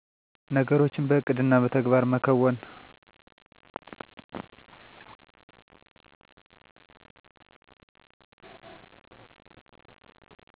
ነገሮችን በዕቅድና በተግባር መከወን